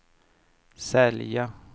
sälja